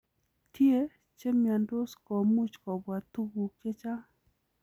Tie chemiondos komuch kobwa tuguk chechang'.